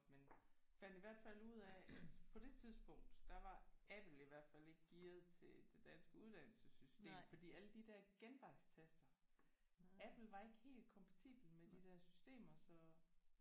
Men fandt i hvert fald ud af at på det tidspunkt der var Apple i hvert fald ikke gearet til det danske uddannelsessystem fordi alle de der genvejstaster Apple var ikke helt kompatibel med de der systemer så